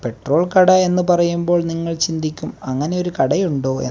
petrol കട എന്ന് പറയുമ്പോൾ നിങ്ങൾ ചിന്തിക്കും അങ്ങനെ ഒരു കടയുണ്ടോയെ --